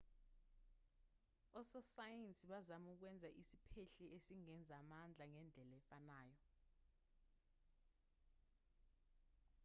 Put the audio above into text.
ososayensi bazama ukwenza isiphehli esingenza amandla ngendlela efanayo